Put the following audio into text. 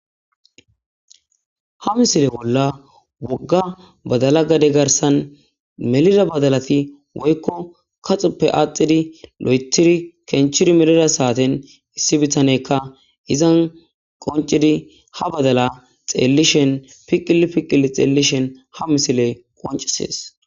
ha misile bolla wogga badala gade garsan melida badalati woykko kaxappe aaxidi lo'etiri kenchiri melida saaten issi bitanekka izan qoncidi ha badala xeellishen piqili piqilii xeellishen ha misiley qoncisees